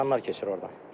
İnsanlar keçir orda.